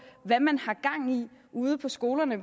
hvad man har gang i ude på skolerne